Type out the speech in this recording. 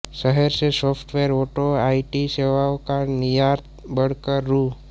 शहर से सॉफ्टवेयर और आईटी सेवाओं का निर्यात बढ़कर रु